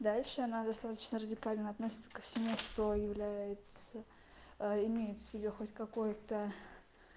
дальше надо срочно радикально относится ко всему что является а имеет в себе хоть какой-то